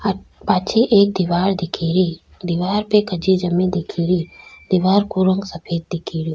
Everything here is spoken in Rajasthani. पाछे एक दिवार दिख री दिवार पे कच्ची जमी दिख री दिवार को रंग सफ़ेद दिख रो।